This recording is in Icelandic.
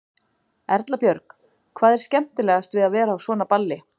Erla Björg: Hvað er skemmtilegast við að vera á svona balli?